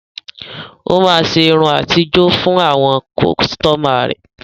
Ó máa ṣe irun àtijó fún àwọn kọ́sítọ́mà.